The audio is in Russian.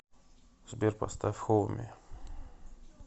сбер поставь хоми